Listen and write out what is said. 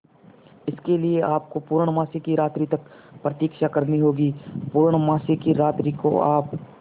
इसके लिए आपको पूर्णमासी की रात्रि तक प्रतीक्षा करनी होगी पूर्णमासी की रात्रि को आप